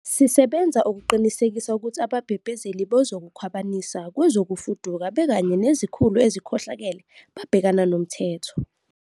Sisebenza ukuqinisekisa ukuthi ababhebhezeli bokukhwabanisa kwezokufuduka bekanye nezikhulu ezikhohlakele babhekana nomthetho.